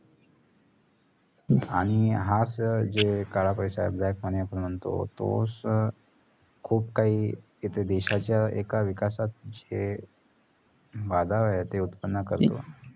आणि हाच काळापैसा black money आपण म्हणतो तोस खूप काही इथ देशाच्या एका विकासात जे बाधा आहे ते उत्त्पन करतो.